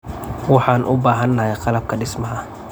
Waxaan u baahanahay qalabka dhismaha.